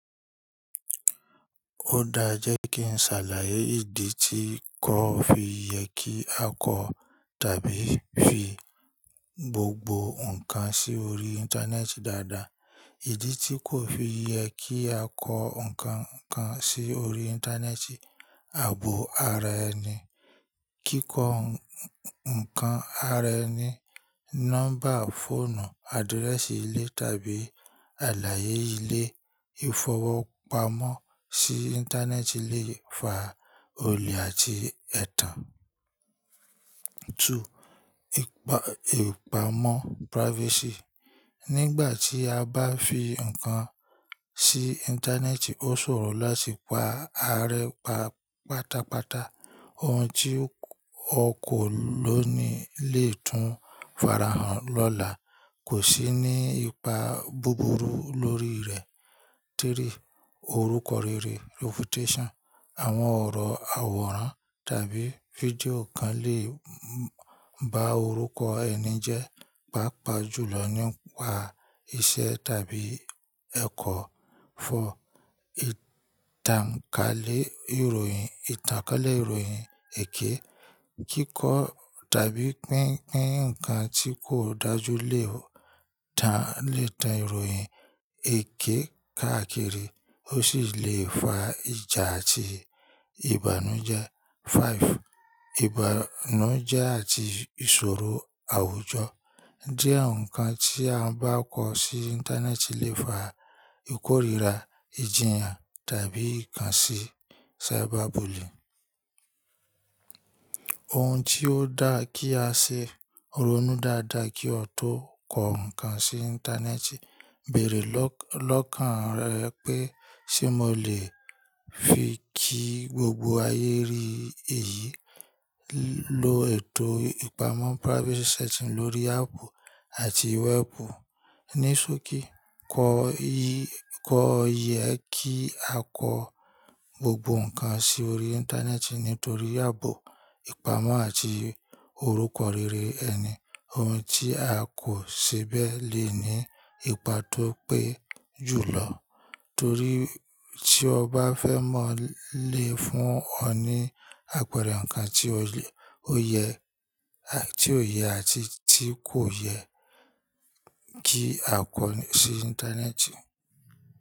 Ó dáa jẹ́ kí n ṣàlàyé ìdí tí kò fi yẹ kí a kọ tàbí fi gbogbo nǹkan sí orí Íńtánẹ́ẹ̀tì dáadáa. Ìdí tí kò fi yẹ kí a kọ nǹkan kan sí orí Íńtánẹ́ẹ̀tì ààbò ara ẹni, kíkọ nǹkan ara ẹni, nọ́mbà fóònù, adírẹ́sì ilé tàbí àlàyé ilé. Ìfowópamọ́ sí Íńtánẹ́ẹ̀tì lè fa olè àti ẹ̀tàn. 2. Ìpa Ìpamọ́ privacy. Nígbà tí a bá fi nǹkan sí Íńtánẹ́ẹ̀tì ó sòrò láti pa arẹ pa pátápátá. Ohun tí o kò ló ni lè tún farahàn lọ́la. Kò sí ní ipa búburú lórí rẹ̀. 3. Orúkọ rere, reputation. Àwọn ọ̀rọ̀ àwòrán tàbí fídíò kan lè ba orúkọ ẹni jẹ́, pàápàá jùlọ nípa iṣẹ́ tàbí ẹ̀kọ́. 4. Ìtànkálẹ̀ ìròyìn ìtànkálẹ̀ ìròyìn èké. Kíkọ tàbí pínpín ǹkan tí kò dájú lè tàn lè tàn ìròyìn èké káàkiri, ó sì lè fa ìjà àti ìbànújẹ́. 5. Ìbànújẹ́ àti ìṣòro àwùjọ. Diẹ nǹkan tí a bá kọ sí Íńtánẹ́ẹ̀tì lè fa ìkóríira, ìjìyàn tàbí ìkànsì cyberbully Ohun tí ó dáa kí a ṣe, ronú dáadáa kí o tó kọ ǹkan sí Íńtánẹ́ẹ̀tì. Bẹ̀rẹ̀ lọ́kàn rẹ pé, ṣe mo lè fi kí gbogbo ayé rí èyí? Lo ètò ìpamọ́ privacy setting lórí áàpù àti wẹ́ẹ̀pù. Ní sókí, kò yẹ kí a kọ gbogbo nǹkan sí orí Íńtánẹ́ẹ̀tì nítorí ààbò ìpamọ́ àti orúkọ rere ẹni. Ohun tí a kò ṣe bẹ́ẹ̀ lè ní ipa tó pé jùlọ. Torí tí o bá fẹ́ mọ̀ lé fún ọ ní àpẹẹrẹ nǹkan tí o le o yẹ ó yẹ àti tí kò yẹ kí a kọ sí Íńtánẹ́ẹ̀tì.